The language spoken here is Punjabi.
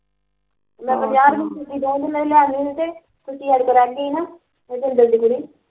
ਮੈਂ ਬਜ਼ਾਰ ਹੁਣ ਤੁਸੀਂ ਦਾਉਗੇ ਮੈਂਨੂੰ ਲਿਆ ਕੇ ਤੁਸੀਂ ਐਡ ਕਰਾਂਗਾ ਈ ਨਾ ਇੱਥੇ ਜਿੰਦਵਦੀ